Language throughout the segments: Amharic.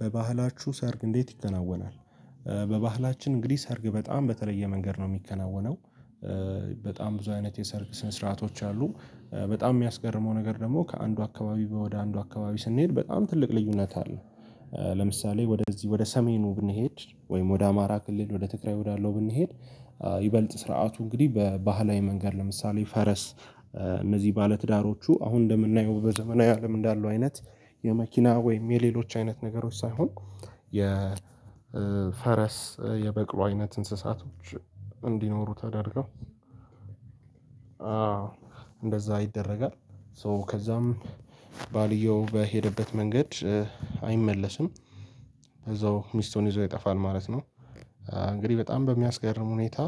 በባህላችሁ ሰርግ እንዴት ይከናወናል? በባህላችን እንግዲህ ሰርግ በጣም በተለየ መንገድ ነው የሚከናወነው፤ በጣም ብዙ አይነት የሰርግ ስነ ስርዓቶች አሉ በጣም የሚያስገርመው ነገር ደግሞ ከአንዱ አካባቢ ወደ አንዱ አካባቢ ስንሄድ በጣም ትልቅ ልዩነት አለ፤ ለምሳሌ ወደዚህ ወደ ሰሜኑ ብንሄድ ወይም ወደ አማራ ክልል ወደ ትግራይ ወዳለው ብንሄድ ይበልጥ ስርዓቱ እንግዲህ በባህላዊ መንገድ ለምሳሌ ፈረስ እነዚህ ባለትዳሮቹ አሁን እንደምናየው በዘመናዊው አለም እንዳለው አይነት የመኪና ወይም የሌሎች አይነት ነገሮች ሳይሆን የፈረስ የበቅሎ አይነት እንስሳቶች እንዲኖሩ ተደርገው አዎ እንደዛ ይደረጋል ሶ ከዛም ባልየው በሄደበት መንገድ አይመለስም እዛው ሚስቱን ይዞ ይጠፋል ማለት ነው እንግዲህ በጣም በሚያስገርም ሁኔታ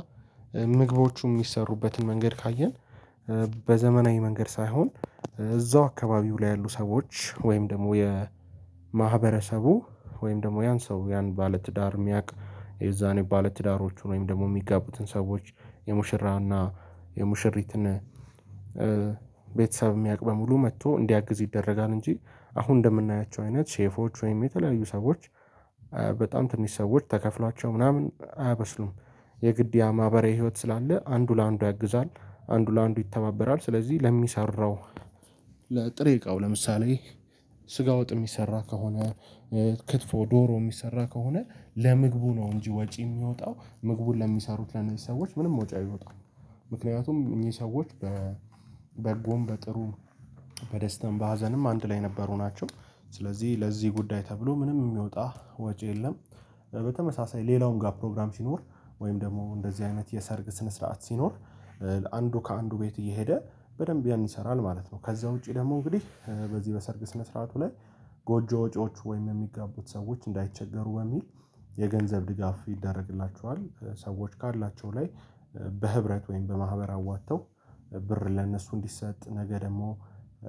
ምግቦቹ የሚሰሩበትን መንገድ ካየን በዘመናዊ መንገድ ሳይሆን እዛው አካባቢው ላይ ያሉ ሰዎች ወይም ደግሞ የማህበረሰቡ ወይም ደግሞ ያን ሰው ያን ባለትዳር የሚያውቅ የዛኔ ባለትዳሮቹን ወይም ደግሞ የሚጋቡትን ሰዎች የሙሽራና የሙሽሪትን ቤተሰብ የሚያውቅ በሙሉ መጥቶ እንዲያግዝ ይደረጋል እንጂ አሁን እንደምናያቸው አይነት ሼፎች ወይም የተለያዩ ሰዎች በጣም ትንሽ ሰዎች ተከፍሏቸው ምናምን አያበስሉም፤ የግድ ያ ማህበራዊ ህይወት ስላለ አንዱ ለአንዱ ያግዛል አንዱ ለአንዱ ይተባበራል ስለዚህ ለሚሰራው ለጥሬ እቃው ለምሳሌ ስጋ ወጥ የሚሰራ ከሆነ ክትፎ ዶሮ የሚሰራ ከሆነ ለምግቡ ነው እንጂ ወጪ የሚወጣው ምግቡን ለሚሰሩት ለነዚህ ሰዎች ምንም ወጪ አይወጣም ምክንያቱም እኚህ ሰዎች በበጎም በጥሩ በደስታም በሀዘንም አንድ ላይ የነበሩ ናቸው ስለዚህ ለዚህ ጉዳይ ተብሎ ምንም የሚወጣ ወጪ የለም፤ በተመሳሳይ ሌላውን ጋ ፕሮግራም ሲኖር ወይም ደግሞ እንደዚህ አይነት የሰርግ ስነ ስርዓት ሲኖር አንዱ ከአንዱ ቤት እየሄደ በደንብ ያን ይሰራል ማለት ነው ከዛ ውጪ ደግሞ እንግዲህ በዚህ በሰርግ ስነ ስርዓቱ ላይ ጎጆ ወጪዎች ወይም የሚጋቡት ሰዎች እንዳይቸገሩ በሚል የገንዘብ ድጋፍ ይደረግላቸዋል ሰዎች ካላቸው ላይ በህብረት ወይም በማህበር አዋጥተው ብር ለእነሱ እንዲሰጥ ነገ ደግሞ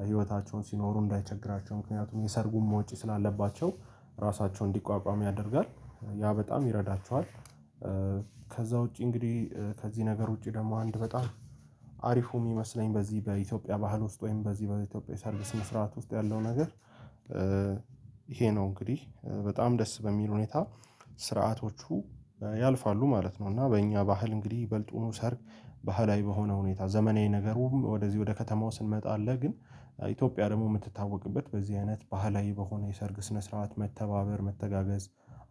ህይወታቸውን ሲኖሩ እንዳይቸግራቸው ምክንያቱም የሰርጉም ውጪ ስላለባቸው ራሳቸውን እንዲቋቋም ያደርጋል ያ በጣም ይረዳቸዋል ውጪ እንግዲህ ከዚህ ነገር ውጪ ደግሞ አንድ በጣም አሪፉ የሚመስለኝ በዚህ በኢትዮጵያ ባህል ውስጥ ወይም በዚህ በኢትዮጵያ ሰርቪስ መስራት ውስጥ ያለው ነገር ይሄ ነው እንግዲህ በጣም ደስ በሚል ሁኔታ ስርዓቶቹ ያልፋሉ ማለት ነው እና በእኛ ባህል እንግዲህ ይበልጡኑ ሰርግ ባህላዊ በሆነ ሁኔታ ዘመናዊ ነገሩም ወደዚህ ወደ ከተማው ስንመጣ አለ ግን ኢትዮጵያ ደግሞ የምትታወቅበት በዚህ አይነት ባህላዊ በሆነ የሰርግ ስነ ስርዓት መተባበር መተጋገዝ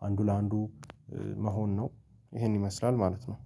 አንዱ ለአንዱ መሆን ነው ይሄን ይመስላል ማለት ነው።